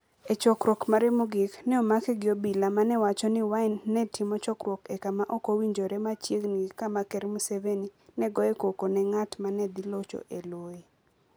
E chokruok mare mogik, ne omake gi obila, ma ne wacho ni Wine ne timo chokruok e kama ok owinjore machiegni gi kama Ker Museveni ne goyoe koko ne ng'at ma ne dhi locho e loye.